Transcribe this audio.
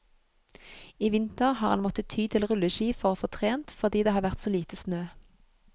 I vinter har han måttet ty til rulleski for å få trent, fordi det har vært så lite snø.